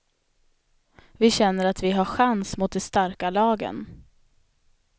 Vi känner att vi har chans mot de starka lagen.